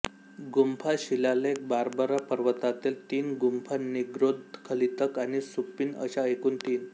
गुंफा शिलालेख बार्बरा पर्वतातील तीन गुंफा निग्रोध खलीतक आणि सुप्पिय अशा एकूण तीन